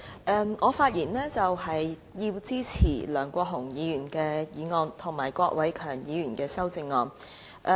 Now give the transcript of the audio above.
主席，我發言支持梁國雄議員的議案，以及郭偉强議員的修正案。